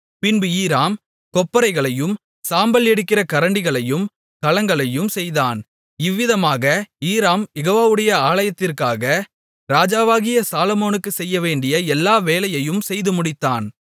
பின்பு ஈராம் கொப்பரைகளையும் சாம்பல் எடுக்கிற கரண்டிகளையும் கலங்களையும் செய்தான் இவ்விதமாக ஈராம் யெகோவாவுடைய ஆலயத்திற்காக ராஜாவாகிய சாலொமோனுக்குச் செய்யவேண்டிய எல்லா வேலையையும் செய்து முடித்தான்